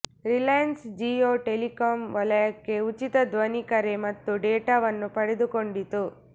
Reliance Jio telecom ವಲಯಕ್ಕೆ ಉಚಿತ ಧ್ವನಿ ಕರೆ ಮತ್ತು ಡೇಟಾವನ್ನು ಪಡೆದುಕೊಂಡಿತು